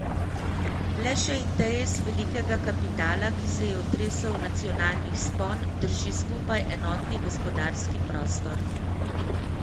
Le še interes velikega kapitala, ki se je otresel nacionalnih spon, drži skupaj enotni gospodarski prostor.